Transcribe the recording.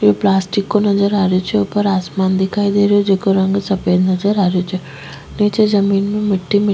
ये प्लास्टिक को नजर आ रेहो छे ऊपर आसमान दिखाई दे रेहो जेको रंग सफेद नजर आ रो छे नीचे जमीन में मिटटी --